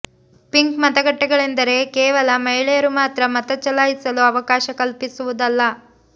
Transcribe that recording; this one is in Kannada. ಪಿಂಕ್ ಮತಗಟ್ಟೆಗಳೆಂದರೆ ಕೇವಲ ಮಹಿಳೆಯರು ಮಾತ್ರ ಮತ ಚಲಾಯಿಸಲು ಅವಕಾಶ ಕಲ್ಪಿಸುವುದಲ್ಲ